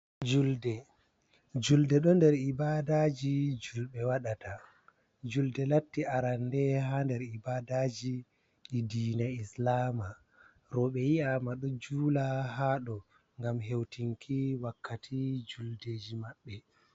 Julde, juldeɗo nder ibadaji julɓe waɗata, julɗe latti arande ha nder ibadaji ɗi dina islama roɓɓe yi'ama ɗo jula ha dou ngam heutinki wakkati juldeji maɓɓe.